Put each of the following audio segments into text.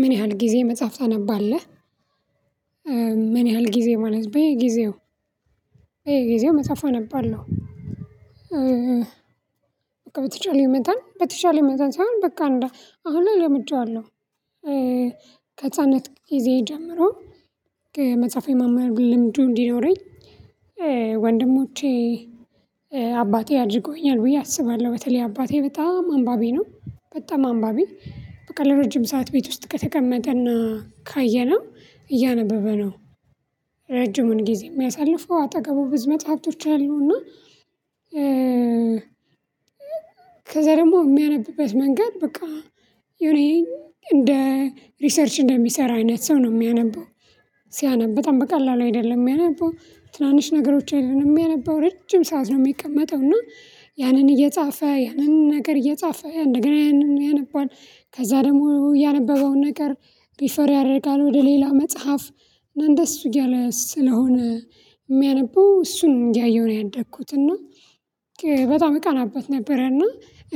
"ምን ያህል ጊዜ መጽሐፍ ታነባለህ?" ምን ያህል ጊዜ ማለት፣ በየጊዜው በየጊዜው መጽሐፍ አነባለሁ። በቃ በተቻለኝ መጠን በተቻለ መጠን ሳይሆን በቃ አሁን ላይ ለምጄዋለሁ። ከህጻንነት ጊዜ ጀምሮ ከመጽሐፉ የማንበብ ልምዱ እንዲኖረኝ ወንድሞቼ፣ አባቴ አድርገውኛል ብዬ አስባለሁ። በተለይ አባቴ በጣም አንባቢ ነው በጣም አንባቢ። በቃ ለረጅም ሰዓት ቤት ውስጥ ከተቀመጠ እና ካየነው እያነበበ ነው። ረጅሙን ጊዜ የሚያሳልፈው አጠገቡ ብዙ መጽሃፍቶች አሉና ከዛ ደግሞ የሚያነብበት መንገድ በቃ የሆነ እንደ ሪሰርች እንደሚሰራ አይነት ሰው ነው የሚያነበው ሲያነብ፤ በጣም በቀላሉ አይደለም የሚያነበው፣ ትናንሽ ነገሮች አይደለም የሚያነበው፣ ረጅም ሰዓት ነው የሚቀመጠው፤ እና ያንን እየጻፈ ያንን ነገር እየጻፈ ነገር ያንን ያነባል ከዛ ደግሞ ያነበበውን ነገር ሪፈር ያደርጋል ወደ ሌላ መጽሐፍ እንደሱ እያለ ስለሆነ የሚያነበው እሱን እያየሁ ነው ያደኩት፤ እና በጣም እቀናበት ነበረ እና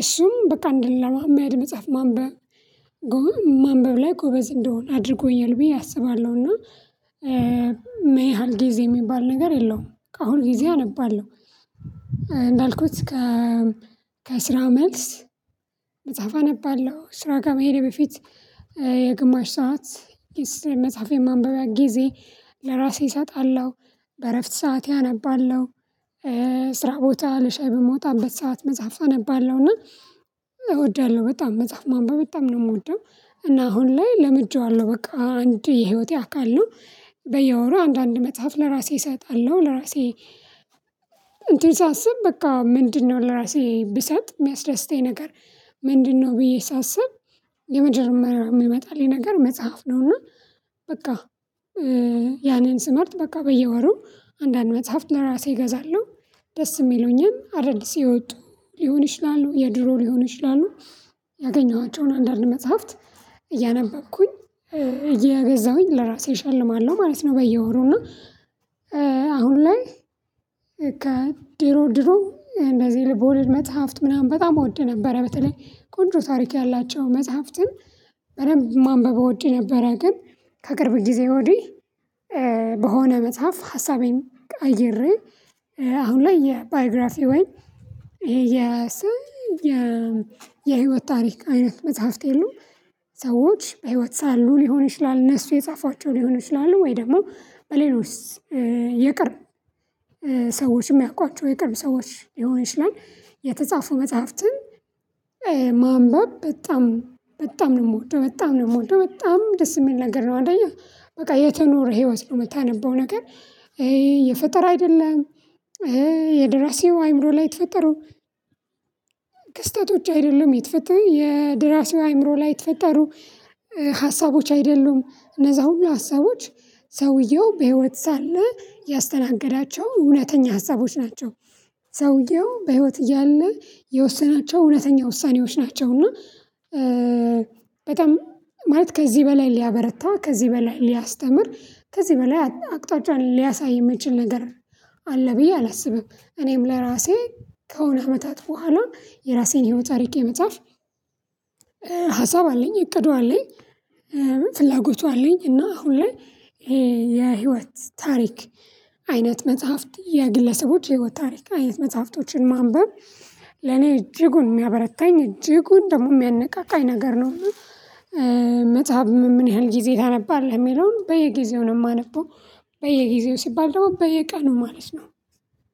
እሱም በቃ እንደሌላ መሃል መጽሐፍ ማንበብ ማንበብ ላይ ጎበዝ እንደሆን አድርጎኛል ብዬ አስባለሁ፤ እና ምን ያህል ጊዜ የሚባል ነገር የለውም። ከአሁን ጊዜ አነባለሁ። እንዳልኩት ከ ከስራ መልስ መጽሐፍ አነባለሁ ስራ ከ መሄዴ በፊት የግማሽ ሰዓት የስ መጽሐፍ የማንበቢያ ጊዜ ለራሴ እሰጣለሁ። በእረፍት ሰዓቴ አነባለሁ። ስራ ቦታ ለሻይ በምወጣበት ሰዓት መጽሐፍ አነባለሁና እወዳለሁ በጣም መጽሐፍ ማንበብ በጣም ነው የምወደው፤ እና አሁን ላይ ለምጄዋለሁ በቃ አንድ የህይወቴ አካል ነው። በየወሩ አንዳንድ መጽሐፍ ለራሴ እሰጣለሁ። ለራሴ እንትን ሳስብ በቃ ምንድነው ለራሴ ብሰጥ የሚያስደስተኝ ነገር ምንድነው ብዬ ሳስብ የመጀመሪያ የሚመጣልኝ ነገር መጽሐፍ ነው፤ እና በቃ ያንን ስመርጥ በቃ በየወሩ አንዳንድ መጽሐፍ ለራሴ እገዛለሁ። ደስ የሚሉኝን አዳዲስ የወጡ ሊሆን ይችላሉ፤ የድሮ ሊሆኑ ይችላሉ። ያገኘኋቸውን አንዳንድ መጽሐፍት እያነበብኩኝ እየገዛሁኝ ለራሴ እሸልማለሁ ማለት ነው በየወሩ እና አሁን ላይ ከድሮ ድሮ እንደዚህ ልቦልድ መጽሐፍት ምናምን በጣም እወድ ነበረ በተለይ ቆንጆ ታሪክ ያላቸው መጽሐፍትን በደንብ ማንበብ እወድ ነበረ፤ ግን ከቅርብ ጊዜ ወዲህ በሆነ መጽሐፍ ሀሳቤን ቀይሬ አሁን ላይ የባዮግራፊ ወይ የሰ የ የህይወት ታሪክ አይነት መጽሐፍት የሉም ሰዎች በህይወት ሳሉ ሊሆን ይችላል እነሱ የጻፏቸው ሊሆኑ ይችላሉ ወይ ደግሞ በሌሎች የቅርብ ሰዎችም ሚያውቋቸው የቅርብ ሰዎች ሊሆን ይችላል፣ የተጻፉ መጽሐፍትን ማንበብ በጣም በጣም ነው የምወደው በጣም ነው የምወደው በጣም ደስ የሚል ነገር ነው። አንደኛ በቃ የተኖረ ህይወት ነው የምታነበው ነገር ይሄ የፈጠራ አይደለም ይሄ የድራሲው አእምሮ ላይ የተፈጠሩ ክስተቶች አይደሉም የተፈ የደራሲው አይምሮ ላይ የተፈጠሩ ሀሳቦች አይደሉም፣ እነዛ ሁሉ ሀሳቦች ሰውየው በህይወት ሳለ ያስተናገዳቸው እውነተኛ ሀሳቦች ናቸው። ሰውየው በህይወት እያለ የወሰናቸው እውነተኛ ውሳኔዎች ናቸው፤ እና በጣም ማለት ከዚህ በላይ ሊያበረታ፣ ከዚህ በላይ ሊያስተምር፣ ከዚህ በላይ አቅጣጫ ሊያሳይ የሚችል ነገር አለ ብዬ አላስብም። እኔም ለራሴ ከሆነ አመታት በኋላ የራሴን ህይወት ታሪክ የመጻፍ ሀሳብ አለኝ እቅዱ አለኝ፣ ፍላጎቱ አለኝ እና አሁን ላይ የህይወት ታሪክ አይነት መጽሐፍት የግለሰቦች የህይወት ታሪክ አይነት መጽሐፍቶችን ማንበብ ለኔ እጅጉን የሚያበረታኝ እጅጉን ደግሞ የሚያነቃቃኝ ነገር ነው። መጽሐፍ ምን ያህል ጊዜ ታነባለህ የሚለውን በየጊዜው ነው የማነበው። በየጊዜው ሲባል ደግሞ በየቀኑ ማለት ነው።